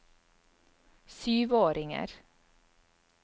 syvåringer